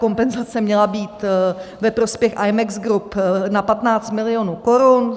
Kompenzace měla být ve prospěch Imex Group na 15 milionů korun.